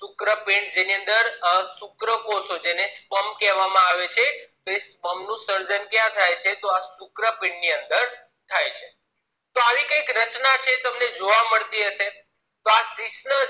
શુક્રપીંડી જેની અંદર શુકકોષો છે તેને sperm કહેવામાં આવે છે sperm નુ સર્જન ક્યાં થાય છે તોહ આ શુક્રપીંડ ની અંદર થાય છે તો આવી કંઇક રચના તમને જોવા મળતી હશે